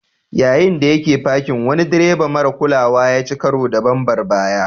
Yayin da yake fakin, wani direba marar kulawa ya ci karo da bambar baya.